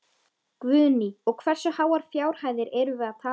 Guðný: Og hversu háar fjárhæðir erum við að tala um?